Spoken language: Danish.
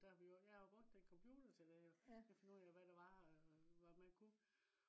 der vi jo. jeg har brugt den computer til det jo. til at finde ud af hvad der var og hvad man kunne